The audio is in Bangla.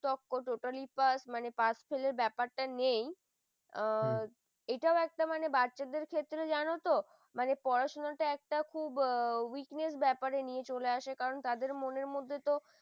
তক্ক total pass fail ফেলের ব্যাপারটা নেই ও এটা একটা মানে বাচ্চাদের ক্ষেত্রে জানো তো? মানে পড়াশোনা টা খুব weakness ব্যাপারে নিয়ে আসে কারণ তাদের মনের মধ্যে ত